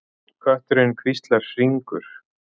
Kötturinn, hvíslar Hringur.